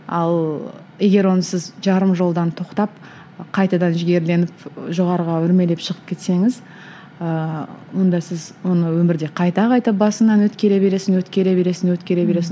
ал егер оны сіз жарым жолдан тоқтап қайтадан жігерленіп жоғарыға өрмелеп шығып кетсеңіз ыыы онда сіз оны өмірде қайта қайта басыңнан өткере бересің өткере бересің өткере бересің